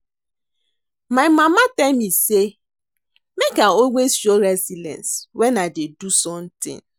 My mama tell me say make I always show resilience wen I dey do something